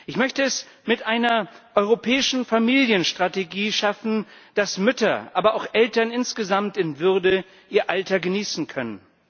Ich möchte es mit einer europäischen Familienstrategie schaffen, dass Mütter, aber auch Eltern insgesamt, in Würde ihr Alter genießen können.